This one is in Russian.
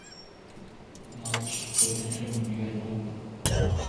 матч тоттенхэм ливерпуль